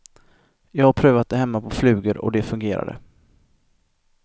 Jag har prövat det hemma på flugor och det fungerade.